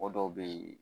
Mɔgɔ dɔw be yen